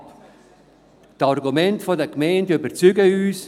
Die Argumente der Gemeinden überzeugen uns.